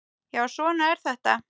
Já, svona er þetta.